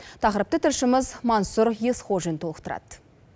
тақырыпты тілшіміз мансұр есқожин толықтырады